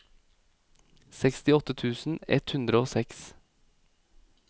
sekstiåtte tusen ett hundre og seks